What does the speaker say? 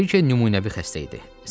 Briken nümunəvi xəstə idi.